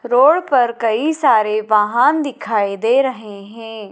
Road पर कई सारे वाहन दिखाई दे रहे हैं।